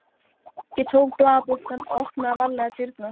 Ég tók blaðabunkann og opnaði varlega dyrnar.